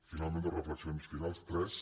finalment dues reflexions finals tres